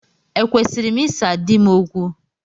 Ekwesịrị m ịsa di m okwu?